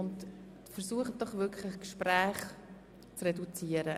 Versuchen Sie bitte, Ihre persönlichen Gespräche zu reduzieren.